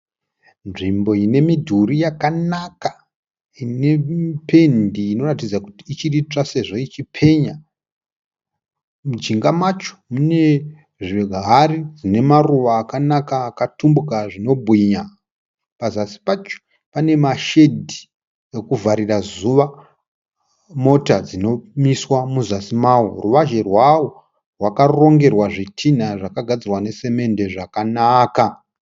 Nzvimbo inemudhuri yakanaka inependi inoratidza ichiritsva sezvo ichipenya, mujinga macho mune zvihari zvinemaruva akanaka akatumbuka zvinobwinya, pazasi pacho pane ma shedhi okuvharira zuva mota dzinomiswa muzasi mawo ruvazhi rwayo rwakarongerwa zvidhinha zvakagadzirwa necement zvakanaka.